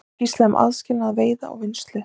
Skýrsla um aðskilnað veiða og vinnslu